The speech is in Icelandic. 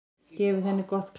Gefið henni gott klapp.